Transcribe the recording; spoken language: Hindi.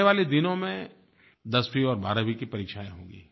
आने वाले दिनों में दसवीं और बारहवीं की परीक्षायें होंगी